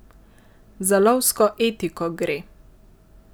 Za lovsko etiko gre!